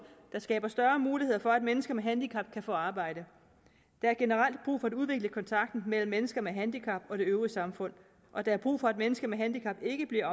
der skaber større muligheder for at mennesker med handicap kan få arbejde der er generelt brug for at udvikle kontakten mellem mennesker med handicap og det øvrige samfund og der er brug for at mennesker med handicap ikke bliver